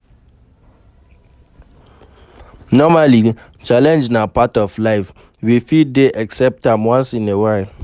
Normally, challenge na part of life, we fit dey excpect am once in a while